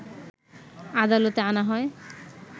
আদালতে আনা হয়